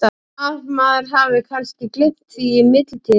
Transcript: Nema að maður hafi kannski gleymt því í millitíðinni?